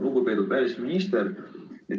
Lugupeetud välisminister!